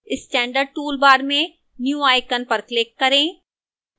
standard toolbar में new icon पर click करें